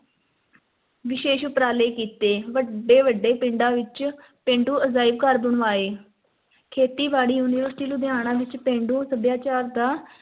ਵਿਸ਼ੇਸ਼ ਉਪਰਾਲੇ ਕੀਤੇ, ਵੱਡੇ-ਵੱਡੇ ਪਿੰਡਾਂ ਵਿੱਚ ਪੇਂਡੂ ਅਜਾਇਬ ਘਰ ਬਣਵਾਏ, ਖੇਤੀ-ਬਾੜੀ university ਲੁਧਿਆਣਾ ਵਿੱਚ ਪੇਂਡੂ ਸੱਭਿਆਚਾਰ ਦਾ